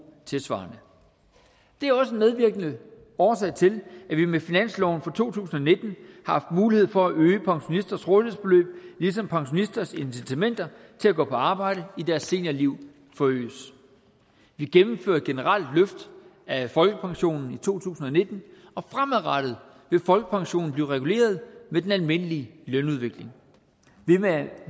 tilsvarende det er også en medvirkende årsag til at vi med finansloven for to tusind og nitten har haft mulighed for at øge pensionisters rådighedsbeløb ligesom pensionisters incitamenter til at gå på arbejde i deres seniorliv forøges vi gennemfører et generelt løft af folkepensionen i to tusind og nitten og fremadrettet vil folkepensionen blive reguleret med den almindelige lønudvikling